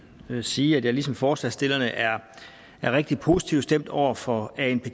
sige at jeg ligesom forslagsstillerne er rigtig positivt stemt over for anpg